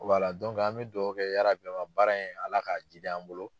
Wala an bɛ dugawu kɛ baara in Ala ka jiidi an bolo.